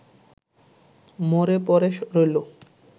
মরে পড়ে রইল